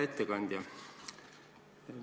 Hea ettekandja!